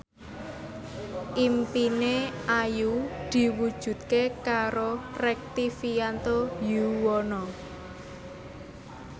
impine Ayu diwujudke karo Rektivianto Yoewono